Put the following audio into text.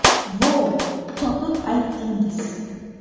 Vo, topib aytdingiz!